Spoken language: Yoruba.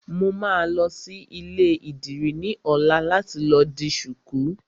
Mo máa lọ sí ilé ìdìrí ní ọ̀la láti lọ di ṣuku